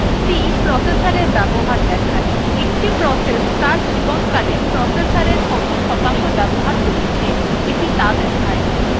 c processorএর ব্যবহার দেখায় একটি process ত়ার জীবনকালে processorএর কত শতাংশ বাবহার করেছে এটি ত়া দেখায়